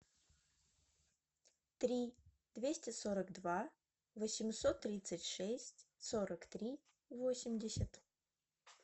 три двести сорок два восемьсот тридцать шесть сорок три восемьдесят